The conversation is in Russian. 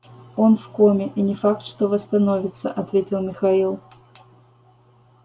он в коме и не факт что восстановится ответил михаил